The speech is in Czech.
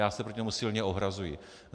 Já se proti tomu silně ohrazuji.